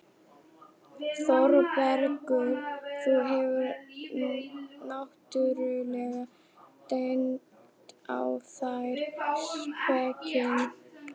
ÞÓRBERGUR: Þú hefur náttúrlega dengt á þær spekinni.